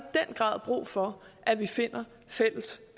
den grad brug for at vi finder fælles